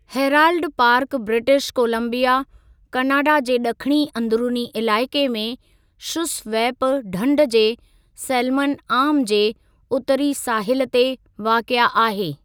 Herald Park British Columbia, Canada जे ड॒खिणी अदंरुनी इलाइक़े में शुसवैप ढंढु जे सैल्मन आर्म जे उत्तरी साहिलु ते वाक़िए आहे।